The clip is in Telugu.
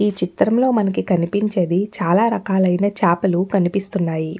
ఈ చిత్రంలో మనకి కనిపించేది చాలా రకాలైన చేపలు కనిపిస్తున్నాయి.